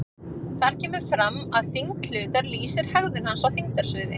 Þar kemur fram að þyngd hlutar lýsir hegðun hans í þyngdarsviði.